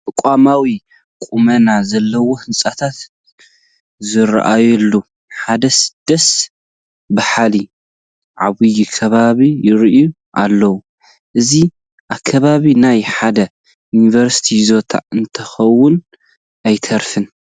ተቋማዊ ቁመና ዘለዎም ህንፃታት ዝርአዩሉ ሓደ ደስ በሃሊ ዓብዪ ከባቢ ይርአ ኣሎ፡፡ እዚ ኣከባቢ ናይ ሓደ ዩኒቨርሲቲ ይዞታ እንተይኮነ ኣይተርፍን፡፡